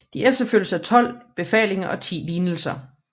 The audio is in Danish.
De efterfølges af tolv befalinger og ti lignelser